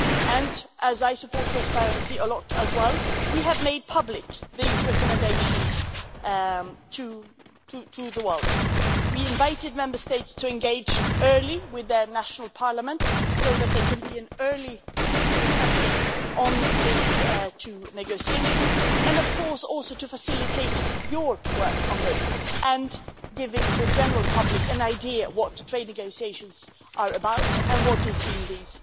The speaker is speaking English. As I strongly support transparency as well, we have made these recommendations public to the world. We invited Member States to engage early with their national parliaments so that there could be an early discussion on these two negotiations and of course also to facilitate your work on this and to give the general public an idea what trade negotiations are about and what is in this